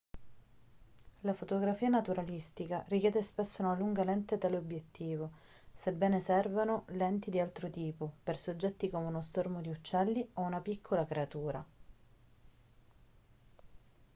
la fotografia naturalistica richiede spesso una lunga lente teleobiettivo sebbene servano lenti di altro tipo per soggetti come uno stormo di uccelli o una piccola creatura